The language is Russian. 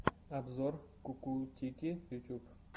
обзор кукутики ютуб